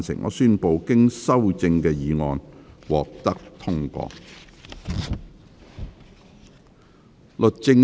我宣布經修正的議案獲得通過。